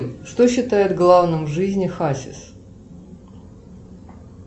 что считает главным в жизни хасис